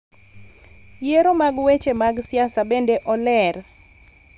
Yiero mag weche mag siasa bende oleer.